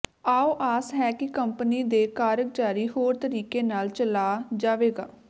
ਆਓ ਆਸ ਹੈ ਕਿ ਕੰਪਨੀ ਦੇ ਕਾਰਜਕਾਰੀ ਹੋਰ ਤਰੀਕੇ ਨਾਲ ਚਲਾ ਜਾਵੇਗਾ